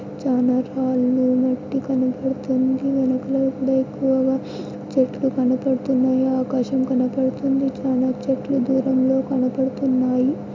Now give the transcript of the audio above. చానా చాలా కనపడుతుంది. వెనకాల కూడా ఎక్కువగా చెట్లు కనపడుతున్నాయి ఆకాశం కనబడుతుంది. చానా చెట్లు దూరంలో కనబడుతున్నాయి.